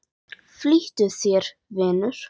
Flýttu þér, vinur.